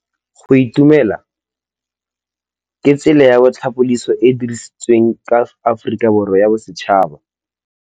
Go itumela ke tsela ya tlhapolisô e e dirisitsweng ke Aforika Borwa ya Bosetšhaba.